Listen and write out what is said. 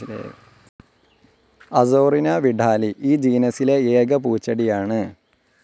Azorina vidalii ഈ ജീനസിലെ ഏക പൂച്ചെടിയാണ്.